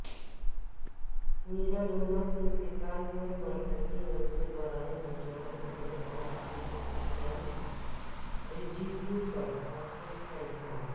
Maradona کے انتقال پرمرکزی وزیر برائے نوجوان امور اور کھیل کیرن رجیجوکا افسوس کا اظہار